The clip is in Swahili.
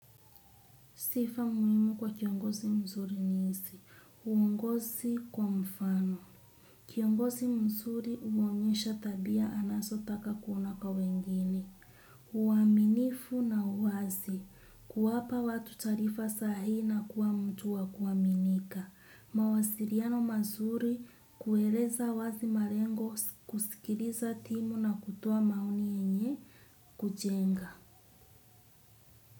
Sifa muimu kwa kiongosi mzuri nisi. Uungosi kwa mfano. Kiongosi mzuri uonyesha tabia anaso taka kuona kwa wengine. Uaminifu na uwazi. Kuwapa watu tarifa sahi na kuwa mtu wa kuwaminika. Mawasiriano mazuri kueleza uwazi marengo kusikiriza timu na kutoa maoni enye kujenga.